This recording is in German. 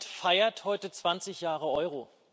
Das Parlament feiert heute 20 Jahre Euro.